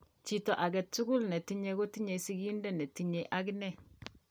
Chito agetugul netinye kotinye sigindet netinye agine